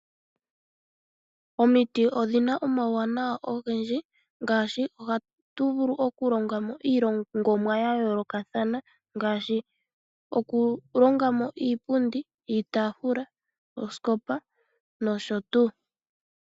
Omiti odhina omauwanawa ogendji, oha tu vulu oku longa mo iilongomwa yayoolokathana ngashi okulongamo iipundi, iitafula ooskopa nosho tuu .